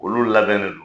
Olu labɛnnen don